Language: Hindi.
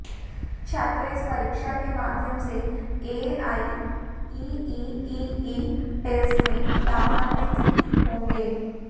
छात्र इस परीक्षा के माध्यम से एआईईईई टेस्ट में लाभान्वित होंगे